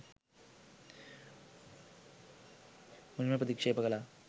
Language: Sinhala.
මුලින්ම ප්‍රතික්ෂේප කළා.